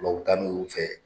Bloku t'an n'olu fɛ.